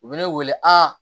U bɛ ne wele a